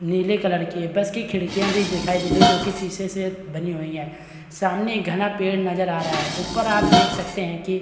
नीले कलर की है बस की खिड़कियाँ भी दिखाई दे रही है जो की शीशे से बनी हुई है सामने एक घना पेड़ नजर आ रहा है ऊपर आप देख सकते हैं कि --